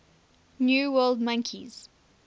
new world monkeys